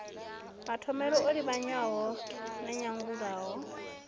mathomele o livhanywa na nyanyulaho